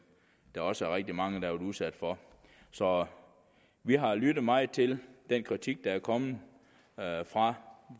der også er rigtig mange været udsat for så vi har lyttet meget til den kritik der er kommet fra